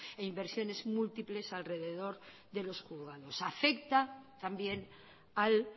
e inversiones múltiples alrededor de los juzgados afecta también al